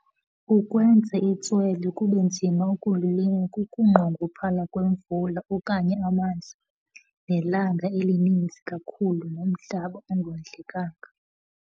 Ukwenza itswele kube nzima ukulilima kukunqongophala kwemvula okanye amanzi, nelanga elininzi kakhulu, nomhlaba ongondlekanga.